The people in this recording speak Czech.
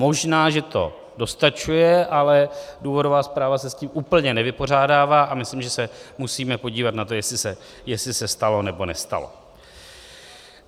Možná že to dostačuje, ale důvodová zpráva se s tím úplně nevypořádává a myslím, že se musíme podívat na to, jestli se stalo, nebo nestalo.